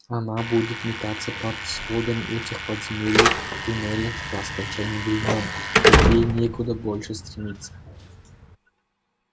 она будет метаться под сводами этих подземелий в туннелях до скончания времён ведь ей некуда больше стремиться